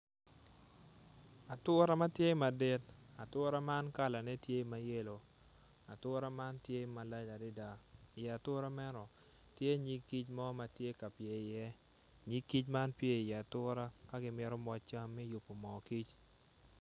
Atura matye madit atura man kala ne tye mayellow ature man tye malac adada i ye atura meno tye nyig kic matye ka pye iye nyig kic man pyer i ya atura ka gimito mo cam me yubo mo kic.